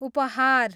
उपहार